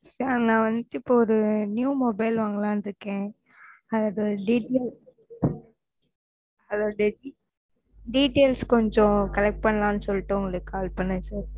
sir நான் வந்துட்டு இப்போ ஒரு new mobile வாங்கலாம் இருக்கேன் அது details அதோட details கொஞ்சம் collect பண்ணலாம் சொல்லிட்டு உங்களுக்கு call பண்ணேன் sir